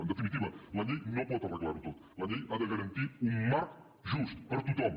en definitiva la llei no pot arreglar ho tot la llei ha de garantir un marc just per a tothom